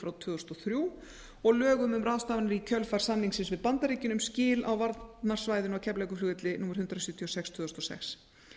fjögur tvö þúsund og þrjú og lögum um ráðstafanir í kjölfar samningsins við bandaríkin um skil á varnarsvæðinu á keflavíkurflugvelli númer hundrað sjötíu og sex tvö þúsund og sex